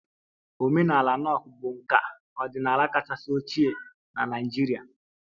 Omenala Nok bụ nka ọdịnala kachasị ochie na Naịjirịa